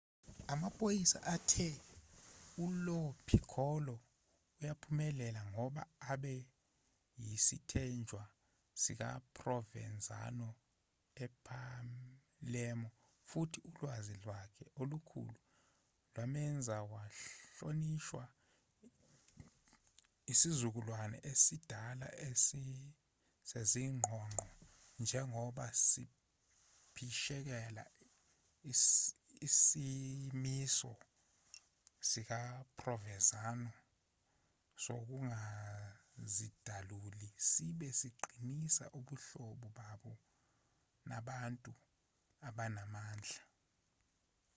amaphoyisa athe ulo piccolo uyaphumelela ngoba abe yisithenjwa sikaprovenzano epalermo futhi ulwazi lwakhe olukhulu lwamenza wahlonishwa isizukulwane esidala sezingqongqo njengoba siphishekela isimiso sikaprovenzano sokungazidaluli sibe siqinisa ubuhlobo baso nabantu abanamandla